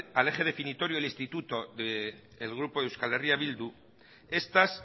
al eje definitorio del instituto del grupo euskal herria bildu estas